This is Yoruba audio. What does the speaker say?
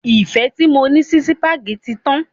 Ìfẹ́ tí mo ní sí sípágì tí tán.